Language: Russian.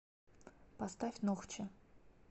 поставь нохчи